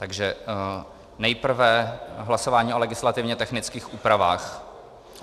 Takže nejprve hlasování o legislativně technických úpravách.